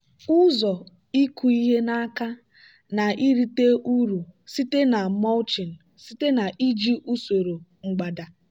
ụzọ ịkụ ihe n'aka na-erite uru site na mulching site na iji usoro mgbada.